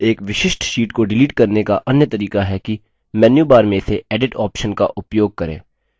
एक विशिष्ट sheet को डिलीट करने का अन्य तरीका है कि मेन्यूबार में से edit option का उपयोग करें